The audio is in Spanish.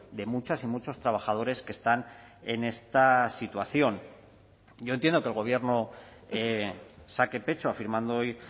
de muchas y muchos trabajadores que están en esta situación yo entiendo que el gobierno saque pecho afirmando hoy